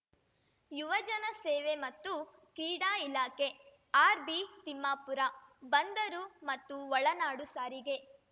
ಯುವಜನ ಸೇವೆ ಮತ್ತು ಕ್ರೀಡಾ ಇಲಾಖೆ ಆರ್‌ಬಿ ತಿಮ್ಮಾಪುರ ಬಂದರು ಮತ್ತು ಒಳನಾಡು ಸಾರಿಗೆ